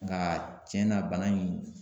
Nka cɛn na bana in